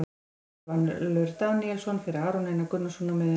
Helgi Valur Daníelsson fyrir Aron Einar Gunnarsson á miðjuna.